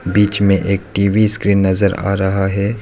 बीच में एक TV screen नजर आ रहा है।